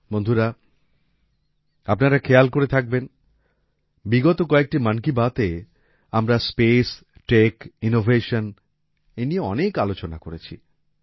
বন্ধুরা আপনারা খেয়াল করে থাকবেন বিগত কয়েকটি মন কি বাত এ আমরা স্পেস টেক ইনোভেশন নিয়ে অনেক আলোচনা করেছি